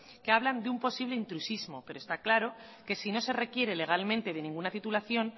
que hablan de un posible intrusismo pero está claro que si no se requiere legalmente de ninguna titulación